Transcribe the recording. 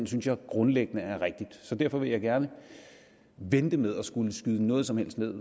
synes jeg grundlæggende er rigtig så derfor vil jeg gerne vente med at skulle skyde noget som helst ned